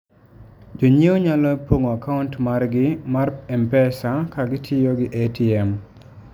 Jonyiewo nyalo pong'o akaunt margi mar M-Pesa ka gitiyo gi ATM.